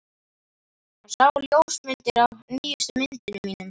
Hann sá ljósmyndir af nýjustu myndunum mínum.